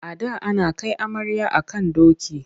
A da ana kai amarya a kan doki.